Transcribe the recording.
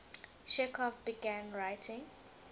chekhov began writing